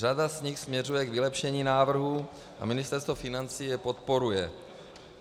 Řada z nich směřuje k vylepšení návrhu a Ministerstvo financí je podporuje.